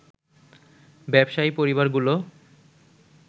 ব্যবসায়ী পরিবারগুলো